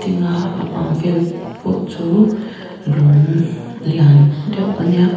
inga a bang vel pawh chu lungg lian deuh ania.